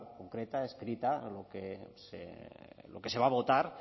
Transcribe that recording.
concreta escrita lo que se va a votar